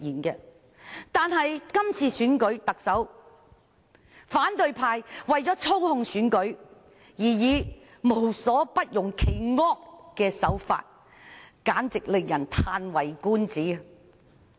然而，在是次特首選舉中，反對派為操控選舉無所不用其惡，令人嘆為觀止。